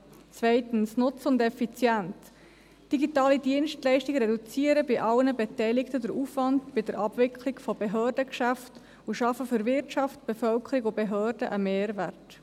Zweitens, Nutzen und Effizienz: Digitale Dienstleistungen reduzieren bei allen Beteiligten den Aufwand bei der Abwicklung von Behördengeschäften und schaffen für Wirtschaft, Bevölkerung und Behörden einen Mehrwert.